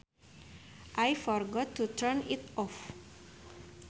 I forgot to turn it off